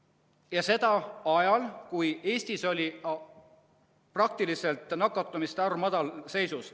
Ja see oli ajal, kui Eestis oli nakatumiste arv madalseisus.